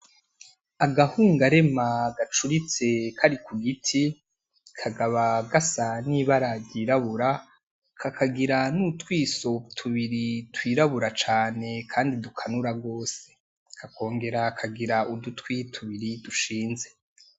Agahungarema agacuritse kari ku giti, kakaba gasa n’ibara ry’irabura, kakagira n’utwiso tubiri twirabura cane kandi dukanura gose, kakongera kakagira udutwi tubiri dushinze.